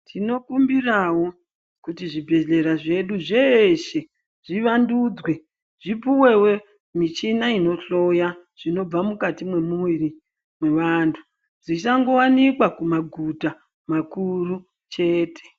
Tinokumbirawo kuti zvibhehlera zvedu zveshe, zvivandunzwe, zvipiwewo michina inohloya zvinobva mukati yemwiri yevantu ,zvisangowanikwa kumaguta makuru chete.